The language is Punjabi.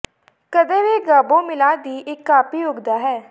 ਕਦੇ ਵੀ ਗਾਬੋ ਮਿਲਾ ਦੀ ਇੱਕ ਕਾਪੀ ਉੱਗਦਾ ਹੈ